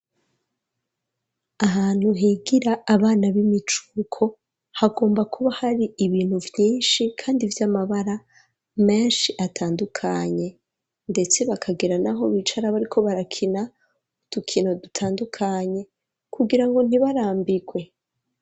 Ahantu higira abana b'imicuko hagomba kuba hari ibintu vyinshi kandi vy'amabara menshi atandukanye, ndetse bakagera naho bicara bariko barakina udukino dutandukanye, kugira ngo ntibarambirwe.